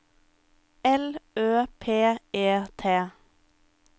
L Ø P E T